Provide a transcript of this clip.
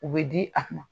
U bɛ di a ma